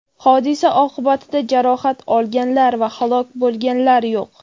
Hodisa oqibatida jarohat olganlar va halok bo‘lganlar yo‘q.